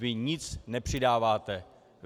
Vy nic nepřidáváte.